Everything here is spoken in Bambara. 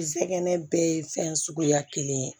Kɛnɛ bɛɛ ye fɛn suguya kelen ye